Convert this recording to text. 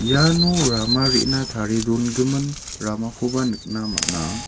iano rama re·na tarie dongimin ramakoba nikna man·a.